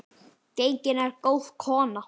Gengin er góð kona.